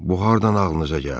Bu hardan ağlınıza gəldi?